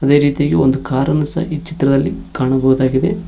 ಅದೇ ರೀತಿಯಾಗಿ ಒಂದು ಕಾರನ್ನು ಸಹ ಈ ಚಿತ್ರದಲ್ಲಿ ಕಾಣಬಹುದಾಗಿದೆ.